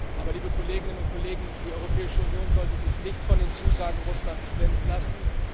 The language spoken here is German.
Aber, liebe Kolleginnen und Kollegen, die Europäische Union sollte sich nicht von den Zusagen Russlands blenden lassen.